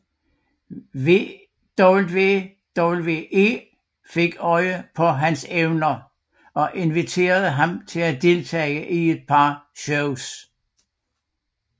WWE fik øje på hans evner og inviterede ham til at deltage i et par shows